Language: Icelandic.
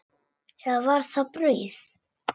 Eða var það brauð?